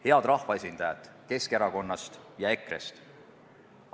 Head rahvaesindajad Keskerakonnast ja EKRE-st!